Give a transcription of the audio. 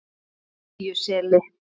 Iðjuseli